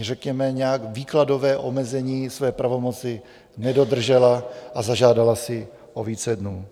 řekněme nějak výkladové omezení své pravomoci nedodržela a zažádala si o více dnů.